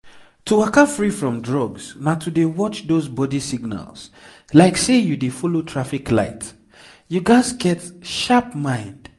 to waka free from drugs na to dey watch those body signals like say you dey follow traffic light you gats get sharp mind.